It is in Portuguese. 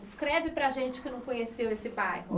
Descreve para a gente que não conheceu esse bairro.